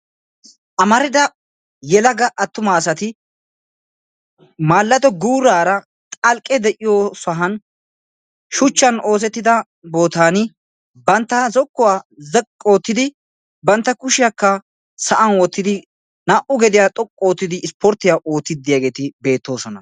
Amaridaa yeelaga attuma asaati maalado guurara xalqqe de''iyo sohuwan shuchchan oosettida bootani bantta zokuwaa zaqi oottidi bantta kushiyaka sa'an wottidi naa'u gediya xoqqu oottidi ispportiyya oottidi de'iyageti betosona.